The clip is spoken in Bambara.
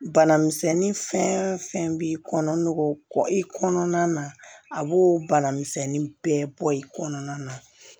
Bana misɛnnin fɛn fɛn b'i kɔnɔ n'o kɔ i kɔnɔna na a b'o banamisɛnnin bɛɛ bɔ i kɔnɔna na